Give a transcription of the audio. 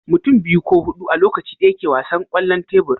mutum biyu ko hudu a Lokaci daya ke wasan kwallon tebur